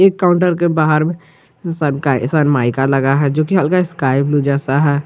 एक काउंटर के बाहर शर्माइका लगा है जोकि हल्का स्काई ब्लू जैसा है।